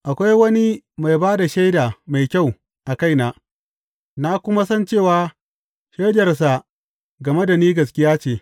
Akwai wani mai ba da shaida mai kyau a kaina, na kuma san cewa shaidarsa game da ni gaskiya ce.